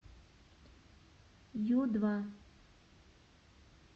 ю два